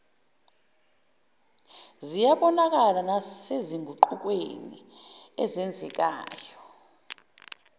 ziyabonakala nasezinguqukweni ezenzekayo